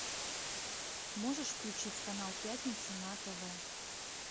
можешь включить канал пятница на тв